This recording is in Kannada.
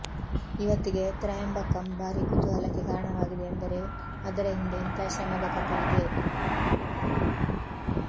ಈವತ್ತಿಗೆ ತ್ರಯಂಬಕಂ ಭಾರೀ ಕುತೂಹಲಕ್ಕೆ ಕಾರಣವಾಗಿದೆ ಎಂದರೆ ಅದರ ಹಿಂದೆ ಇಂಥಾ ಶ್ರಮದ ಕಥೆ ಇದೆ